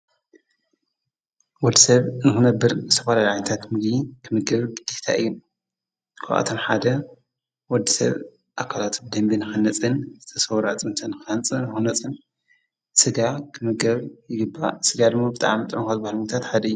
ወድ ሰብ ንክነብር ዝተፈላለዩ ዓይታት ምግጊ ክምገብ ዲታ እኢ ኳዓቶም ሓደ ወድ ሰብ ኣካላቱብ ደንቢን ኸነጽን ዝተሠውራ ጽምትን ካንፅ ንኾነጽን ሥጋ ክምገብ ይግባ ሥጋ ድሚ ብጥዓም ጠንኰትባልምታት ሓደእዩ።